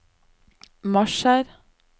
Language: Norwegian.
marsjer